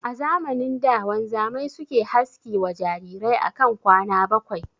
A zamanin da wanzamai suke haski wa jarirai akan kwana bakwai